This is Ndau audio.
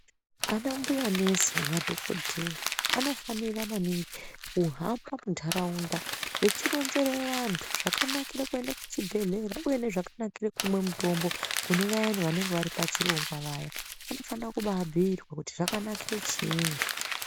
Ana mbuya nesi nemadhokodheya vano fanofanira maningi kuhamba munharaunda vechironzere vantu zvakanakira kuenda kuchibhedhlera uye nezvakanakira kumwa mitombo kune vayani vanenge vari pachirongwa vaya vanofana kuti vabhiirwe kuti zvakanakire chiini.